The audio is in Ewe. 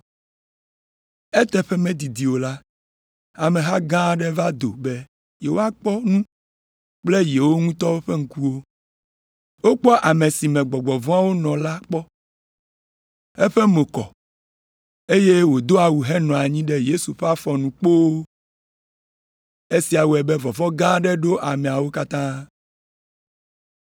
Eteƒe medidi o la, ameha gã aɖe va do be yewoakpɔ nu kple yewo ŋutɔ ƒe ŋkuwo. Wokpɔ ame si me gbɔgbɔ vɔ̃awo nɔ kpɔ la, eƒe mo kɔ, eye wòdo awu henɔ anyi ɖe Yesu ƒe afɔ nu kpoo, esia wɔe be vɔvɔ̃ gã aɖe ɖo ameawo katã.